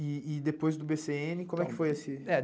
E e depois do bê cê ene, como é que foi esse. É